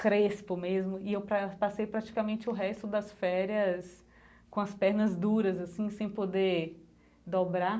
Crespo mesmo, e eu pra passei praticamente o resto das férias com as pernas duras, assim, sem poder dobrar.